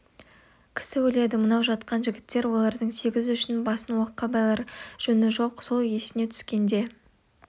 кісі өледі мынау жатқан жігіттер олардың сегіз үшін басын оққа байлар жөні жоқ сол есіне түскенде